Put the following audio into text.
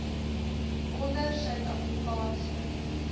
onder suid afrikaanse